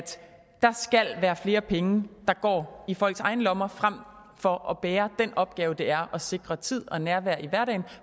der skal være flere penge der går i folks egne lommer frem for at bære den opgave det er at sikre tid og nærvær i hverdagen